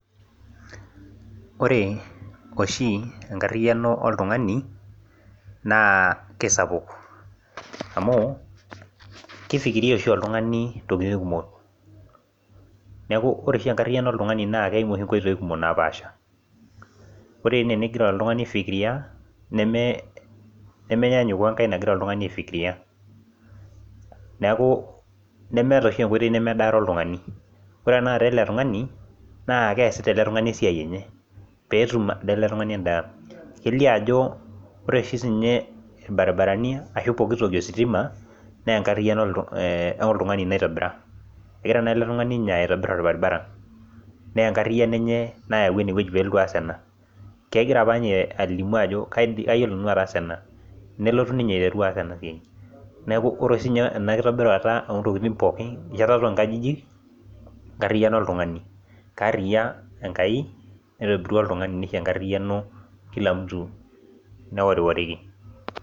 Ore oshi enkarriyiano oltung'ani naa kesapuk amu keifikiria oshi oltung'ani intokiting kumok neku ore oshi enkarriyiano oltung'ani naa keimu oshi inkoitoi kumok napaasha ore ene enigira oltung'ani aifikiria neme nemenyaanyuk wenegira olikae tung'ani aifikiria neeku nemeeta oshi enkoitoi nemedaare oltung'ani ore ena kata ele tung'ani naa keesita ele tung'ani esiai enye peetum ade ele tung'ani endaa kelio ajo ore oshi siinye irbaribarani ashu pokitoki ositima nenkarriyiano oltung'ani naitobira egira naa ele tung'ani ninye aitobirr orbaribara nenkarriyiano enye nayawua enewueji peelotu aas ena kegira apa inye alimu ajo kaidi kayiolo nanu ataasa ena nelotu ninye aiteru aas ena siai neku ore siinye ena kitobirata ontokiting pookin enchetata onkajijik enkarriyiano oltung'ani kaarriyia enkai naitobirua oltung'ani nisho enkarriyiano kila mtu neworiworiki